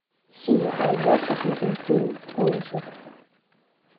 сири айда посмотрим фильм ужасов